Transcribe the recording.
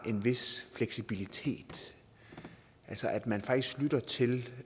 en vis fleksibilitet altså at man faktisk lytter til